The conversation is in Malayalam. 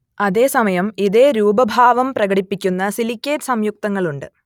അതേ സമയം ഇതേ രൂപഭാവം പ്രകടിപ്പിക്കുന്ന സിലിക്കേറ്റ് സംയുക്തങ്ങളുണ്ട്